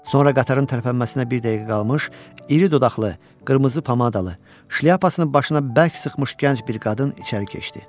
Sonra qatarın tərpənməsinə bir dəqiqə qalmış, iri dodaqlı, qırmızı pomadalı, şlyapasını başına bərk sıxmış gənc bir qadın içəri keçdi.